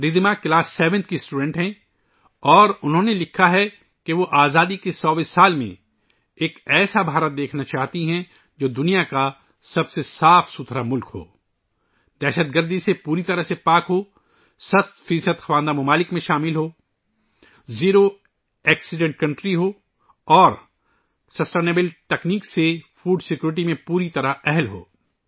رِدھیما ساتویں جماعت کی طالبہ ہے اور انہوں نے لکھا ہے کہ وہ آزادی کے 100ویں سال میں ایک ایسا ہندوستان دیکھنا چاہتی ہے ، جو دنیا کا سب سے صاف ستھرا ملک ہو، دہشت گردی سے مکمل طور پر آزاد ہو، سو فی صد خواندہ ممالک میں شامل ہو، حادثوں سے پاک ملک ہو اور پائیدار ٹیکنالوجی کے ساتھ خوراک کی سکیورٹی کے قابل ہو